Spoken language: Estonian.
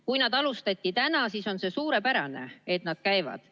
Kui neid alustati täna, siis on see suurepärane, see, et nad käivad.